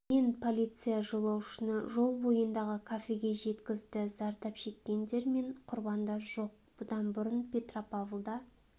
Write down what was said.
мен полиция жолаушыны жол бойындағы кафеге жеткізді зардап шеккендер мен құрбандар жоқ бұдан бұрын петропавлда